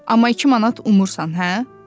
Amma iki manat umursan hə?